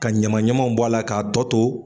Ka ɲamaɲamanw bɔ a la k'a tɔ to.